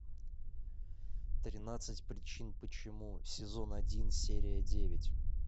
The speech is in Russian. тринадцать причин почему сезон один серия девять